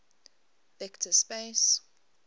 vector space